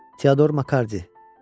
Teodor Makardi.